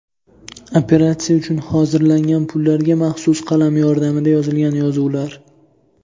Operatsiya uchun hozirlangan pullarga maxsus qalam yordamida yozilgan yozuvlar.